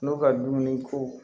N'u ka dumuni ko